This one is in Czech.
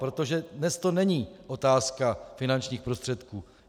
Protože dnes to není otázka finančních prostředků.